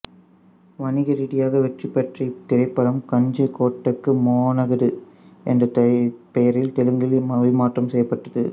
வணிக ரீதியாக வெற்றி பெற்ற இத்திரைப்படம் கஞ்சுகோட்டகு மோனகடு என்ற பெயரில் தெலுங்கில் மொழிமாறறம் செய்யப்பட்டது